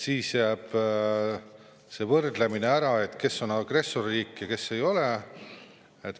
Siis jääks ära see võrdlemine, kes on agressorriik ja kes ei ole.